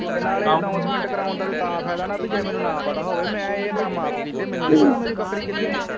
ਤੇ ਨਾਲੇ ਅਨੋਸਮੇਂਟ ਕਰਾਉਣ ਦਾ ਤਾ ਫਾਇਦਾ ਨਾ ਪੀ ਜੇ ਮੈਨੂੰ ਨਾ ਪਤਾ ਹੋਵੇ ਮੈ ਇਹ ਕੰਮ ਆਪ ਕੀਤੇ ਮੈਨੂੰ ਨਹੀਂ ਪਤਾ ਮੇਰੀ ਬੱਕਰੀ ਕਿਥੇ ਆ।